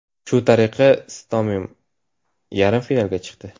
Shu tariqa Istomin yarim finalga chiqdi.